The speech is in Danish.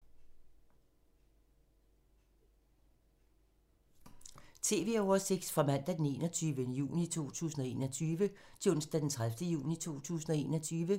Radio/TV oversigt fra mandag d. 21. juni 2021 til onsdag d. 30. juni 2021